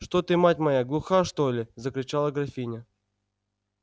что ты мать моя глуха что ли закричала графиня